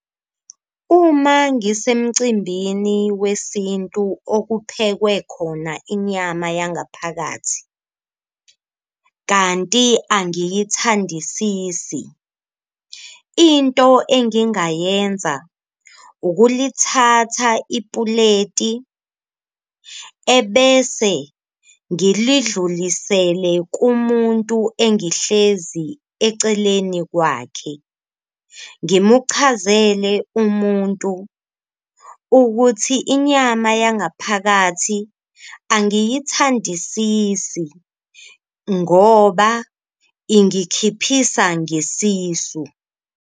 Uma ngisemcimbini wesintu okuphekwe khona inyama yangaphakathi kanti angiyithandisisi, into engingayenza ukulithatha ipuleti ebese ngilidlulisele kumuntu engihlezi eceleni kwakhe. Ngimuchazele umuntu ukuthi inyama yangaphakathi angiyithandisisi ngoba ingikhiphisa ngesisu.